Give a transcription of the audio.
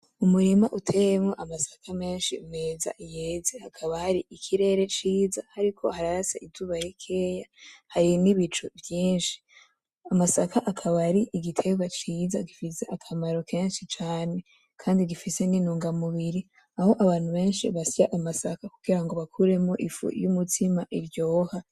Umurima uteyemwo amasaka menshi meza, yeze hakaba hari ikirere ciza hariko hararasa izuba rikeyi hari nibicu vyinshi, amasaka akaba ari igiterwa ciza gifise akamaro kenshi cane Kandi gifise n'intunga mubiri aho abantu benshi basya amasaka kugirango bakuremwo ifu y'umutsima iryoha.